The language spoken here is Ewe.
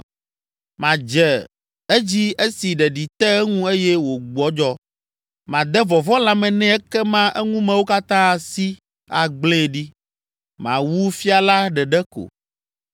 Madze edzi esi ɖeɖi te eŋu eye wògbɔdzɔ. Made vɔvɔ̃ lãme nɛ ekema eŋumewo katã asi, agblẽe ɖi. Mawu fia la ɖeɖe ko,